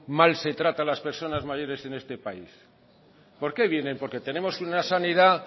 mal se trata a las personas mayores en este país por qué vienen porque tenemos una sanidad